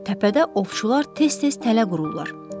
Təpədə ovçular tez-tez tələ qururlar.